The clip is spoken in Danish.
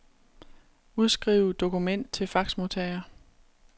Udskriv dokument til faxmodtager.